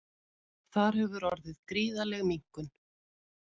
Þar hefur orðið gríðarleg minnkun